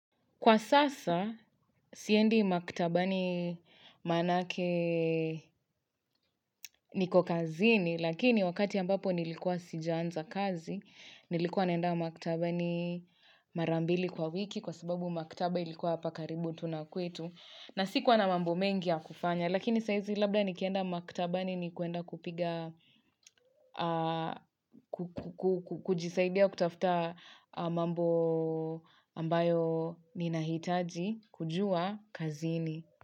Kwa sasa, siendi maktabani manake niko kazini, lakini wakati ambapo nilikuwa sijaanza kazi, nilikuwa naenda maktabani mara mbili kwa wiki kwa sababu maktaba ilikuwa hapa karibu tu na kwetu. Na sikuwa na mambo mengi ya kufanya, lakini saa hizi labda nikienda maktabani ni kuenda kupiga, kujisaidia kutafuta mambo ambayo ninahitaji kujua kazini.